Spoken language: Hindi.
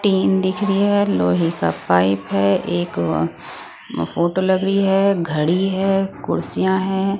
टीन दिख रही है लोहे का पाइप है एक व फोटो लगी है घड़ी है कुर्सियां हैं।